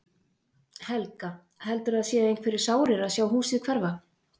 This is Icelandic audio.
Helga: Heldurðu að það séu einhverjir sárir að sjá húsið hverfa?